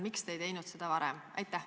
Miks te ei teinud seda varem?